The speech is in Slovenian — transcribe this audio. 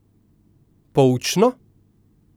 Poučno?